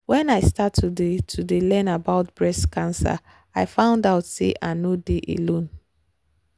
wen i start to dey to dey learn about breast cancer i found out say i nor dey alone